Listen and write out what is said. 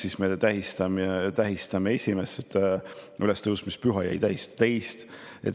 Miks me siis tähistame 1. ülestõusmispüha, aga ei tähista 2.?